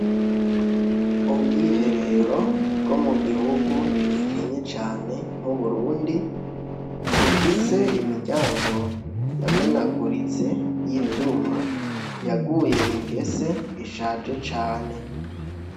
ubwiherero bwo mu gihugu gikenye cyane nk'uburundi bufise imiryango yamenaguritse y'ivyuma yaguye ingese ishaje cane